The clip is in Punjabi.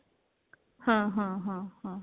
ਹਾਂ ਹਾਂ ਹਾਂ ਹਾਂ